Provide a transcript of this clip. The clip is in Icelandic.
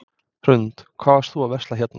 Hrund: Hvað varst þú að versla hérna?